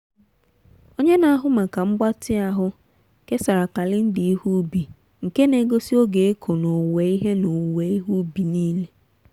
onye na-ahụ maka mgbatị ahụ kesara kalenda ihe ubi nke na-egosi oge ịkụ na owuwe ihe na owuwe ihe ubi niile.